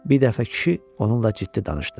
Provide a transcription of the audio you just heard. Bir dəfə kişi onunla ciddi danışdı.